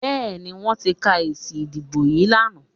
Bẹ́ẹ̀ni, wọ́n ti ka èsì ìdìbò yín lánàá